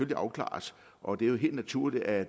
kan afklares og det er jo helt naturligt at